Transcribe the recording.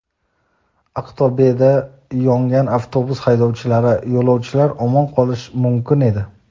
Aqto‘beda yongan avtobus haydovchilari: yo‘lovchilar omon qolishi mumkin edi.